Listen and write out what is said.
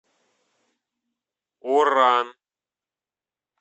оран